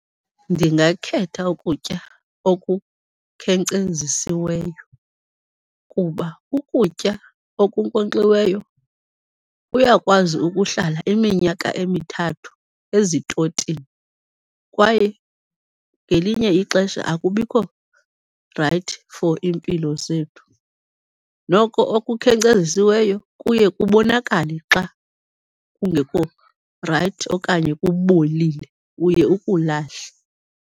Ndingakhetha ukutya okukhenkcezisiweyo kuba ukutya okunkonkxiweyo kuyakwazi ukuhlala iminyaka emithathu ezitotini, kwaye ngelinye ixesha akubikho rayithi for iimpilo zethu. Noko okukhenkcezisiweyo kuye kubonakale xa kungekho rayithi okanye kubolile, uye ukulahle.